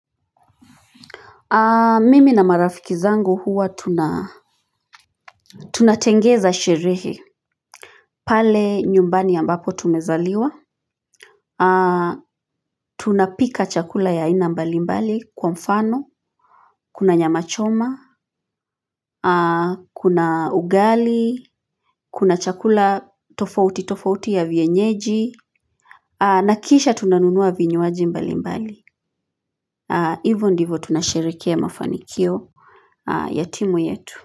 Mimi na marafiki zangu huwa tunatengeza sherehe pale nyumbani ambapo tumezaliwa, tunapika chakula ya haina mbali mbali kwa mfano, kuna nyama choma, kuna ugali, kuna chakula tofauti tofauti ya vienyeji, na kisha tunanunua vinyuaji mbali mbali, hivyo ndivyo tunasherekea mafanikio ya timu yetu.